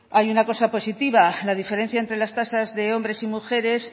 hay una cosa positiva la diferencia entre las tasas de hombres y mujeres